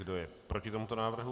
Kdo je proti tomuto návrhu?